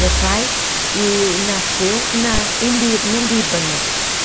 Meu pai eee nasceu na em Lí no Líbano.